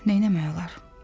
Neyləmək olar?